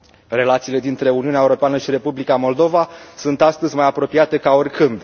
Relațiile dintre Uniunea Europeană și Republica Moldova sunt astăzi mai apropiate ca oricând.